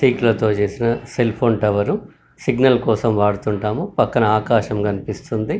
చేసిన cell phone tower signal కోసం వాడుతుంటాము పక్కన ఆకాశం కనిపిస్తుంది .